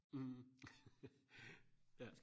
mh ja